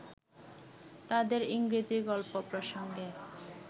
তাঁদের ইংরেজী গল্প প্রসঙ্গে